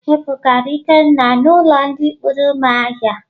E bugara Ikenna n'ulo ndi kpuru umuahia.